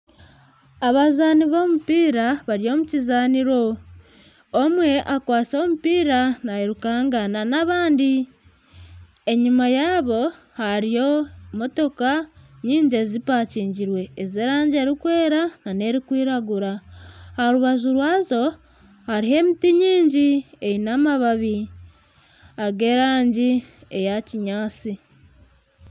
Abazaani b'omupiira bari omu kizaaniro omwe akwatsire omupiira nayirukanga na n'abandi enyuma yaabo hariyo motooka nyingi ezipakingirwe ez'erangi erikwera na n'erikwiragura aha rubaju rwazo hariho emiti mingi eine amabaabi ag'erangi ya kinyaatsi.